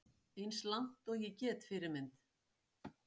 Eins langt og ég get Fyrirmynd?